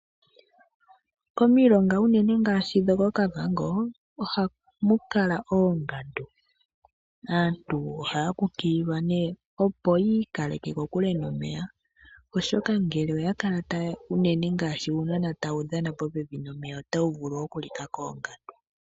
Omilonga unene ngaashi dhokOkavango oha mulala oongandu. Aantu ohaya kukililwa nee opo yiikaleke kokule nomeya oshoka ngele oya kala taya unene ngaashi uunona uushona otawu vulu oku lika koongandu